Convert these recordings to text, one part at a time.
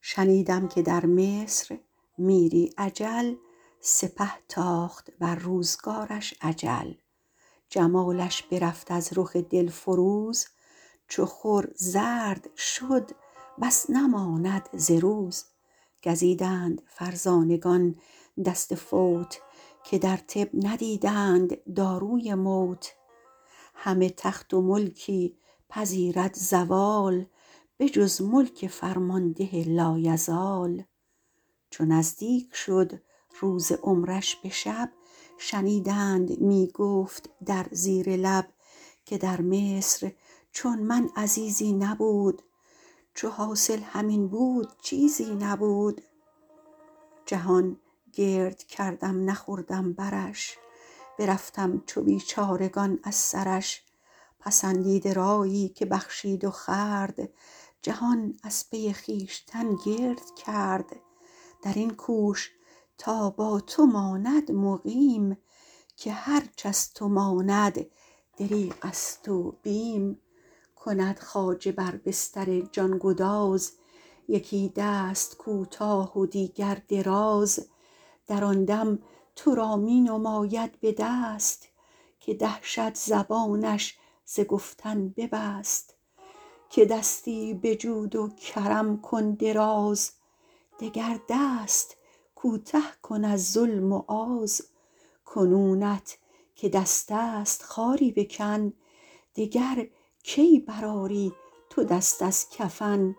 شنیدم که در مصر میری اجل سپه تاخت بر روزگارش اجل جمالش برفت از رخ دل فروز چو خور زرد شد بس نماند ز روز گزیدند فرزانگان دست فوت که در طب ندیدند داروی موت همه تخت و ملکی پذیرد زوال به جز ملک فرمانده لایزال چو نزدیک شد روز عمرش به شب شنیدند می گفت در زیر لب که در مصر چون من عزیزی نبود چو حاصل همین بود چیزی نبود جهان گرد کردم نخوردم برش برفتم چو بیچارگان از سرش پسندیده رایی که بخشید و خورد جهان از پی خویشتن گرد کرد در این کوش تا با تو ماند مقیم که هرچ از تو ماند دریغ است و بیم کند خواجه بر بستر جان گداز یکی دست کوتاه و دیگر دراز در آن دم تو را می نماید به دست که دهشت زبانش ز گفتن ببست که دستی به جود و کرم کن دراز دگر دست کوته کن از ظلم و آز کنونت که دست است خاری بکن دگر کی بر آری تو دست از کفن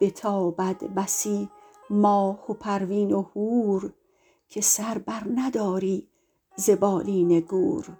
بتابد بسی ماه و پروین و هور که سر بر نداری ز بالین گور